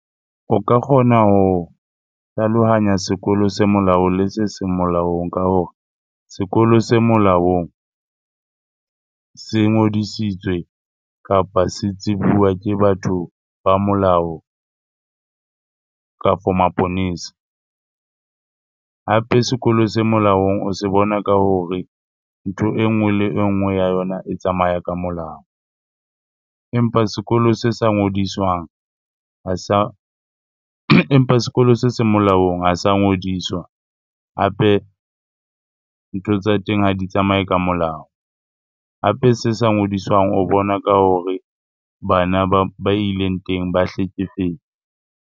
O ka kgona ho hlalohanya sekolo se molaong le se seng molaong ka hore sekolo se molaong se ngodisitswe kapa se tsebuwa ke batho ba molao kafo maponesa. Hape sekolo se molaong o se bona ka hore ntho e nngwe le e nngwe ya yona e tsamaya ka molao. Empa sekolo se sa ngodiswang ha sa, empa sekolo se seng molaong ha sa ngodiswa hape ntho tsa teng ha di tsamaye ka molao. Hape se sa ngodiswang o bona ka hore bana ba ileng teng ba .